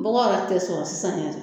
Bɔgɔ yɛrɛ tɛ sɔrɔ sisan yɛrɛ